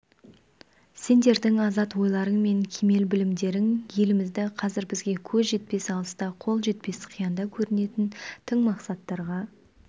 сендердің азат ойларың мен кемел білімдерің елімізді қазір бізге көз жетпес алыста қол жетпес қиянда көрінетін тың мақсаттарға